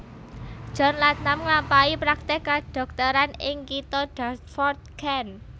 John Latham nglampahi praktèk kadhokteran ing kitha Dartford Kent